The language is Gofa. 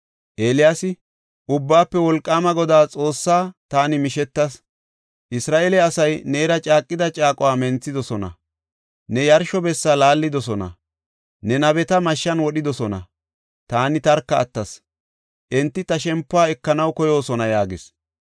Eeliyaasi, “Ubbaafe Wolqaama Godaa Xoossaas taani mishetas. Isra7eele asay neera caaqida caaquwa menthidosona; ne yarsho bessa laallidosona; ne nabeta mashshan wodhidosona. Taani tarka attas; enti ta shempuwa ekanaw koyoosona” yaagis.